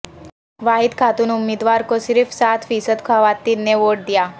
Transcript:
واحد خاتون امیدوار کو صرف سات فیصد خواتین نے ووٹ دیا